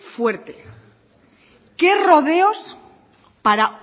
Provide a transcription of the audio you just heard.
fuerte qué rodeos para